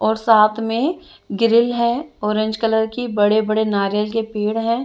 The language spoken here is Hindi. और साथ में ग्रिल है ऑरेंज कलर की बड़े बड़े नारियल के पेड़ है।